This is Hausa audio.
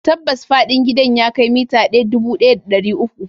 Tabbas fadin gidan ya kai mita dubu ɗaya da ɗari uku.